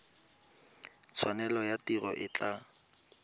tshwanelo ya tiro e tla